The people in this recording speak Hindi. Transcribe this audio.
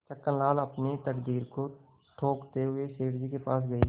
छक्कनलाल अपनी तकदीर को ठोंकते हुए सेठ जी के पास गये